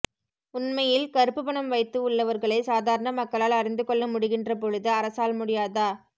உண்மையில் கருப்பு பணம் வைத்து உள்ளவர்களை சாதரன மக்களால் அறிந்து கொள்ள் முடிகின்ற பொழுது அரசால் முடியாதா